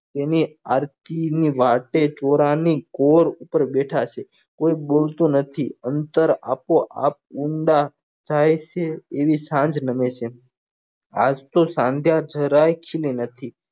તેની આરતી ની વાટે થોર ની કોર ઉપર બેઠા છે કોક બોલતું નથી અંતર આપો આપ ઊંડા જાય છે એવી સાંજ નમે છે આજ તો સાંજ્યા જરાક પણ નથી